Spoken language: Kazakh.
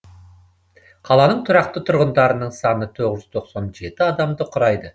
қаланың тұрақты тұрғындарының саны тоғыз жүз тоқсан жеті адамды құрайды